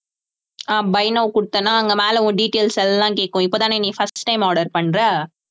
ஆஹ் buy now கொடுத்தேன்னா அங்க மேல உன் details எல்லாம் கேக்கும் இப்பதானே நீ first time order பண்றே?